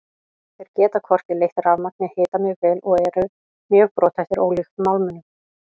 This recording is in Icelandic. Þeir geta hvorki leitt rafmagn né hita mjög vel og eru mjög brothættir ólíkt málmunum.